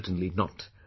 Certainly Not